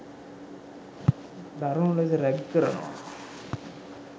දරුනු ලෙස රැග් කරනවා.